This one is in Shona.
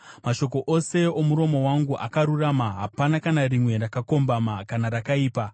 Mashoko ose omuromo wangu akarurama; hapana kana rimwe rakakombama kana rakaipa.